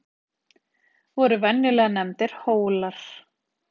Voru venjulega nefndir Hólar.